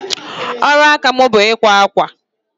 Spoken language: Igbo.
Ọrụ aka m bụ ikwa akwa.